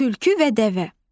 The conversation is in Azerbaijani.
Tülkü və dəvə.